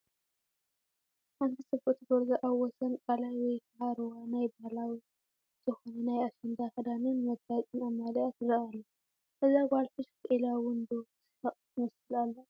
ሓንቲ ፅብቕቲ ጎርዞ ኣብ ወሰን ቃላይ ወይ ከዓ ሩባ ናይ ባህላዊ ዝኻነ ናይ ኣሸንዳ ክዳንን መጋየፅን ኣማሊኣ ትረአ ኣላ፡፡ እዛ ጓል ፍሽኽ ኢላ ውን ዶ ትስሐቕ ትመስል ኣላ?